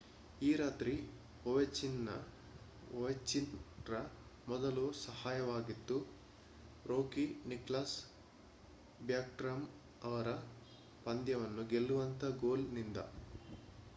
ಈ ರಾತ್ರಿಯ ಒವೆಚ್ಕಿನ್ ರ ಮೊದಲು ಸಹಾಯವಾಗಿದ್ದು ರೂಕಿ ನಿಕ್ಲಾಸ್ ಬ್ಯಾಕ್ಸ್ಟ್ರಾಮ್ ಅವರ ಪಂದ್ಯವನ್ನು ಗೆಲ್ಲುವಂತ ಗೋಲ್ ನಿಂದ